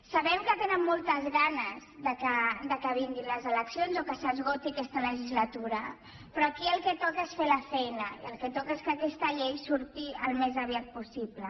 sabem que tenen moltes ganes que vinguin les eleccions o que s’esgoti aquesta legislatura però aquí el que toca és fer la feina i el que toca és que aquesta llei surti al més aviat possible